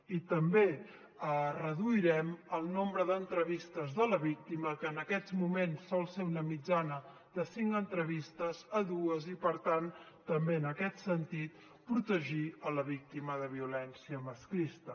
i també reduirem el nombre d’entrevistes de la víctima que en aquests moments sol ser una mitjana de cinc entrevistes a dues i per tant també en aquest sentit protegir la víctima de violència masclista